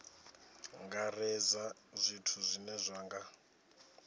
angaredza zwithu zwine zwa nga